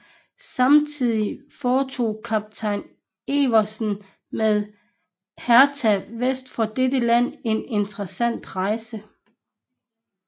Samtidig foretog kaptajn Evensen med Hertha vest for dette land en interessant rejse